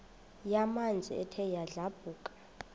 yamanzi ethe yadlabhuka